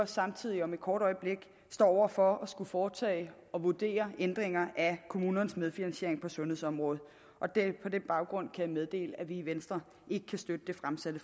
samtidig om et kort øjeblik står over for at skulle foretage og vurdere ændringer af kommunernes medfinansiering på sundhedsområdet på den baggrund jeg meddele at vi i venstre ikke kan støtte det fremsatte